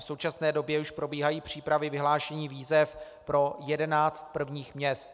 V současné době už probíhají přípravy vyhlášení výzev pro jedenáct prvních měst.